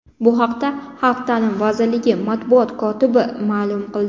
Bu haqda Xalq ta’limi vazirligi matbuot kotibi ma’lum qildi .